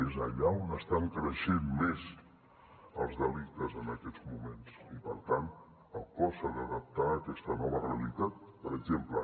és allà on estan creixent més els delictes en aquests moments i per tant el cos s’ha d’adaptar a aquesta nova realitat per exemple